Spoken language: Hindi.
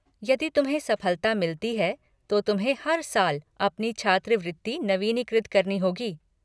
यदि तुम्हें सफलता मिलती है तो तुम्हें हर साल अपनी छात्रवृत्ति नवीनीकृत करनी होगी।